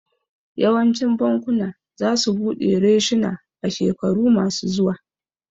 Yawancin bakuna za su buɗe reshuna a shekaru ma su zuwa